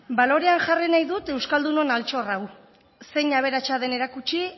balorean jarri nahi dut euskaldunon altxorra hau zein aberatsa den erakutsi